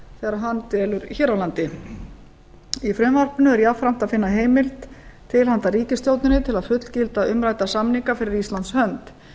þegar hann dvelur hér á landi í frumvarpinu er jafnframt að finna heimild til handa ríkisstjórninni til að fullgilda umrædda samninga fyrir íslands hönd